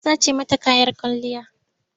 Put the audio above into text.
An sace mata kayan kwalliyarta.